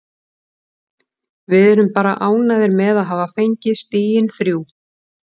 Við erum bara ánægðir með að hafa fengið stigin þrjú.